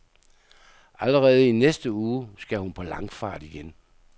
Allerede i næste uge, skal hun på langfart igen.